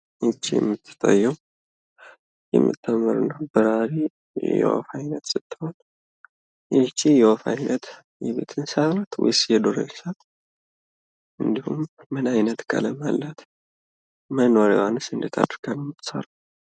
ይህ የምትታየው የምታምር በራሪ የወፍ አይነት ስትሆን ይች የወፍ አይነት የቤት እንሰሳ ናት ወይስ የዱር እንሰሳ ናት? እንዲሁም ምን አይነት ቀለም አላት። መኖሪያዋንስ እንዴት አድርጋ ነው የምትሰራው?